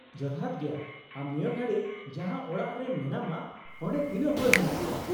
-ᱡᱚᱛᱷᱟᱛ ᱜᱮᱭᱟ, ᱟᱢ ᱱᱤᱭᱟᱹ ᱜᱷᱟᱲᱤᱡ ᱡᱟᱦᱟᱸ ᱚᱲᱟᱜ ᱨᱮ ᱢᱮᱱᱟᱢᱟ ᱚᱸᱰᱮ ᱛᱤᱱᱟᱹᱜ ᱦᱚᱲ ᱢᱮᱱᱟᱜ ᱠᱚᱣᱟ ?